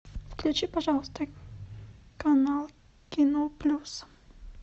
включи пожалуйста канал кино плюс